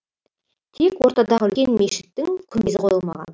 тек ортадағы үлкен мешіттің күмбезі қойылмаған